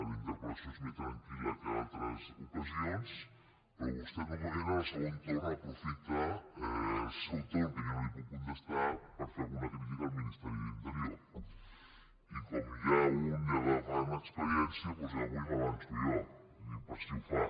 la interpel·lació és més tranquil·la que en altres ocasions però vostè normalment en el segon torn aprofita el seu torn que jo no li puc contestar per fer alguna crítica al ministeri de l’interior i com que un ja va agafant experiència doncs avui m’avanço jo ho dic per si ho fa